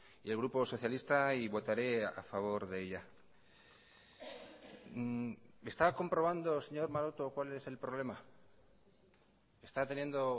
y el grupo socialista y votaré a favor de ella está comprobando señor maroto cuál es el problema está teniendo